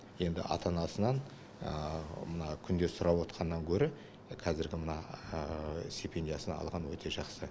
енді ата анасынан мына күнде сұрап отырғаннан гөрі қазіргі мына стипендиясын алған өте жақсы